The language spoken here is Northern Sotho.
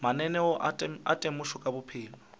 mananeo a temošo ka maphelo